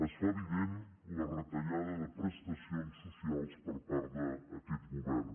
es fa evident la retallada de prestacions socials per part d’aquest govern